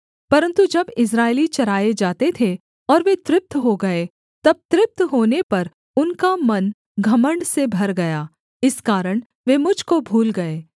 परन्तु जब इस्राएली चराए जाते थे और वे तृप्त हो गए तब तृप्त होने पर उनका मन घमण्ड से भर गया इस कारण वे मुझ को भूल गए